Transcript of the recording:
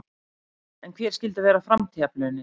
En hver skyldu vera framtíðarplönin?